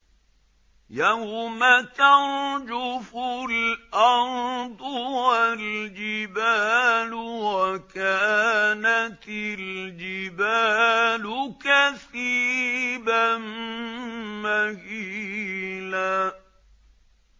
يَوْمَ تَرْجُفُ الْأَرْضُ وَالْجِبَالُ وَكَانَتِ الْجِبَالُ كَثِيبًا مَّهِيلًا